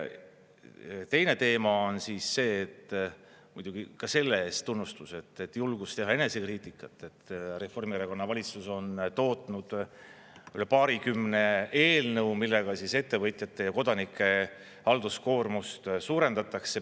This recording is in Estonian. Teine teema on see, muidugi ka selle eest tunnustus, et julgus teha enesekriitikat, et Reformierakonna valitsus on tootnud üle paarikümne eelnõu, millega ettevõtjate ja kodanike halduskoormust suurendatakse.